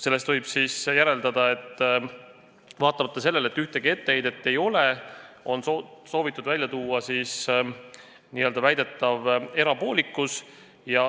Sellest võib siis järeldada, et vaatamata sellele, et ühtegi etteheidet ei ole, on soovitud viidata väidetavale erapoolikusele.